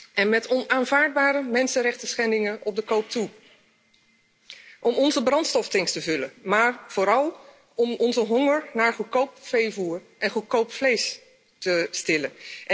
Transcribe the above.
En met onaanvaardbare mensenrechtenschendingen op de koop toe, om onze brandstoftanks te vullen, maar vooral om onze honger naar goedkoop veevoer en goedkoop vlees te stillen.